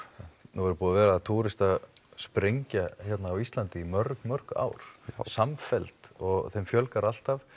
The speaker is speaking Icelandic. nú er búin að vera túristasprengja í mörg mörg ár samfelld og þeim fjölgar alltaf